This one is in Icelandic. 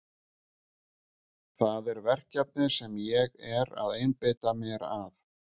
Það er verkefnið sem ég er að einbeita mér að.